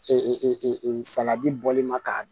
saladi bɔli ma k'a